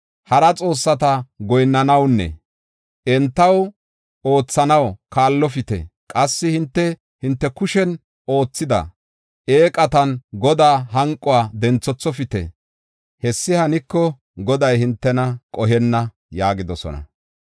Hara xoossata goyinnanawunne entaw oothanaw kaallopite. Qassi hinte, hinte kushen oothida eeqatan Godaa hanquwa denthethofite. Hessi haniko Goday hintena qohenna” yaagidosona.